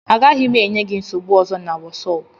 Agaghị m enye gị nsogbu ọzọ na Wosopu